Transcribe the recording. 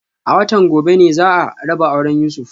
A watan gobe ne za a raba auren Yusuf